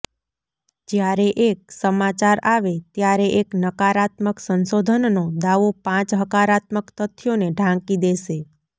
જ્યારે એક સમાચાર આવે ત્યારે એક નકારાત્મક સંશોધનનો દાવો પાંચ હકારાત્મક તથ્યોને ઢાંકી દેશે